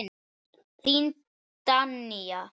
Þín Danía.